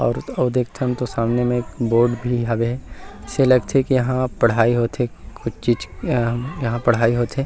और अऊ देखतन तो सामने में एक बोर्ड भी हवे अइसे लगथे की यहाँ पढ़ाई होथे कुछ चीज़ अ यहाँ पढ़ाई होथे।